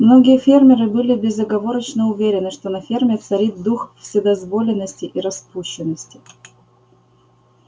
многие фермеры были безоговорочно уверены что на ферме царит дух вседозволенности и распущенности